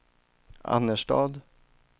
Annerstad